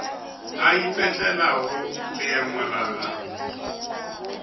a ipetlelago leemo la gagwe